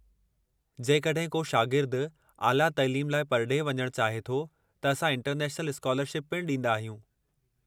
जेकड॒हिं को शागिर्दु आला तइलीम लाइ परडे॒हु वञणु चाहे थो त असां इंटरनेशनल स्कालरशिप पिणु ॾींदा आहियूं।